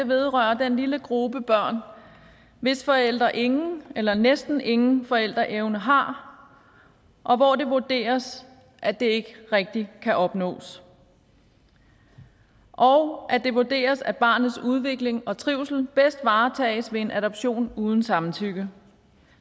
vedrører den lille gruppe børn hvis forældre ingen eller næsten ingen forældreevne har og hvor det vurderes at den ikke rigtig kan opnås og det vurderes at barnets udvikling og trivsel bedst varetages ved en adoption uden samtykke